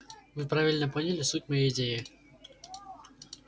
вы правильно поняли суть моей идеи